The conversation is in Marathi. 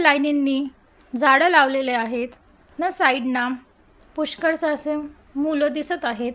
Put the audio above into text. लायनींनी झाडं लावलेली आहेत न साइडन पुष्कळशी असं मुलं दिसत आहेत.